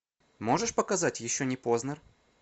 можешь показать еще не поздно